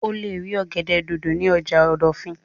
O lè rí ọ̀gẹ̀dẹ̀ dòdò ní ọjà ìdọ̀fìn